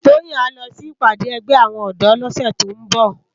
Toyin á lò si ipàdé ègbè áwòn òdò lòsè tó n bò